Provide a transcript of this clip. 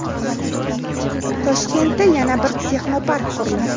Toshkentda yana bir texnopark quriladi.